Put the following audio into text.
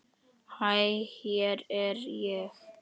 Hæ hér er ég.